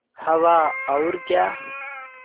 हवा और क्या